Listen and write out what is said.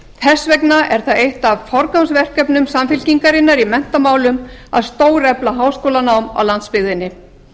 þess vegna er það eitt af forgangsverkefnum samfl í menntamálum að stórefla háskólanám á landsbyggðinni